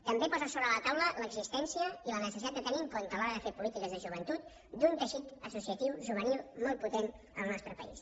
també posa sobre la taula l’existència i la necessitat de tenir en compte a l’hora de fer polítiques de joventut un teixit associatiu juvenil molt potent en el nostre país